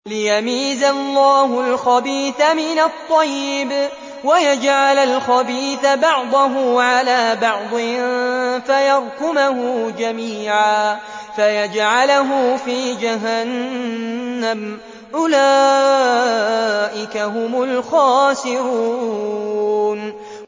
لِيَمِيزَ اللَّهُ الْخَبِيثَ مِنَ الطَّيِّبِ وَيَجْعَلَ الْخَبِيثَ بَعْضَهُ عَلَىٰ بَعْضٍ فَيَرْكُمَهُ جَمِيعًا فَيَجْعَلَهُ فِي جَهَنَّمَ ۚ أُولَٰئِكَ هُمُ الْخَاسِرُونَ